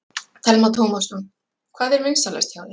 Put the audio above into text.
Telma Tómasson: Hvað er vinsælast hjá þér?